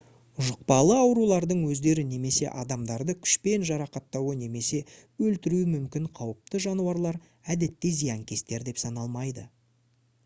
жұқпалы аурулардың өздері немесе адамдарды күшпен жарақаттауы немесе өлтіруі мүмкін қауіпті жануарлар әдетте зиянкестер деп саналмайды